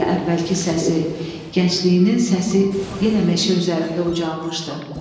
və əvvəlki səsi, gəncliyinin səsi yenə meşə üzərində ucalmışdı.